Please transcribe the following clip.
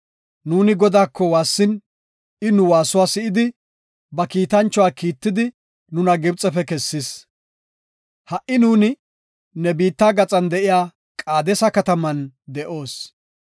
Nuuni Godaako waassin, I nu waasuwa si7idi, ba kiitanchuwa Kiitidi nuna Gibxefe kessis. Ha77i nuuni ne biitta gaxan de7iya Qaadesa kataman de7oos.